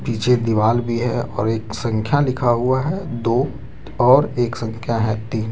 नीचे दीवाल भी है और एक संख्या लिखा हुआ है दो और एक संख्या है तीन।